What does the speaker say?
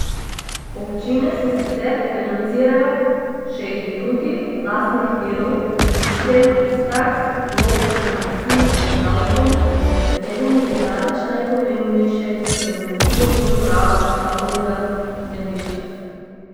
Občine se sicer financirajo še iz drugih, lastnih virov, predvsem iz taks, glob, koncesij in davkov, med katerimi je daleč najpomembnejše nadomestilo za uporabo stavbnega zemljišča.